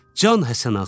Can Həsənağa.